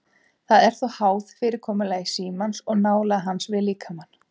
Þetta er þó háð fyrirkomulagi símans og nálægð hans við líkamann.